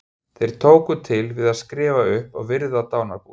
Þeir tóku til við að skrifa upp og virða dánarbúið.